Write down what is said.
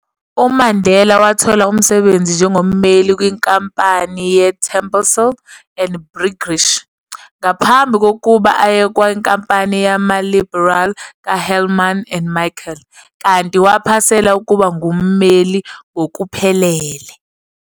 UMandela wathola umsebenzi njengommeli kwinkampani ye-Terblanche and Briggish, ngaphambi kokuba aye kwinkampani yama-liberal ka-Helman and Michel, kanti waphasela ukuba ngummeli ngokuphelele.